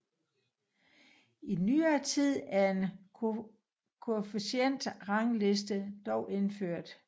I nyere tid er en koefficientrangliste dog indført